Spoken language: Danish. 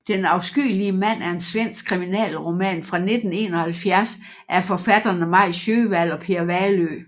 Den afskyelige mand er en svensk kriminalroman fra 1971 af forfatterne Maj Sjöwall og Per Wahlöö